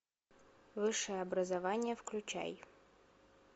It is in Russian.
высшее образование включай